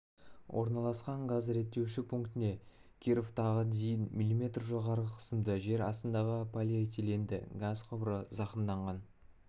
орналасқан газ реттеуші пунктіне кировтағы дейін мм жоғары қысымды жер астындағы полиэтиленді газ құбыры зақымданған